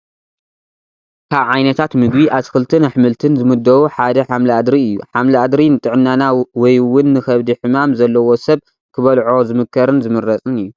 ካብ ዓይነታት ምግቢ ኣትክልትን ኣሕምልትን ዝምደቡ ሓደ ሓምሊ ኣድሪ እዩ፡፡ ሓምሊ ኣድሪ ንጥዕናና ወይ ውን ንኸብዲ ሕማም ዘለዎ ሰብ ክበልዖ ዝምከርን ዝምረፅን እዩ፡፡